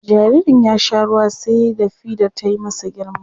Jaririn ya sha ruwa sai da fidar ta yi masa girma.